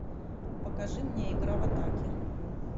покажи мне игра в атаке